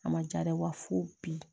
A ma ja dɛ wa fo bi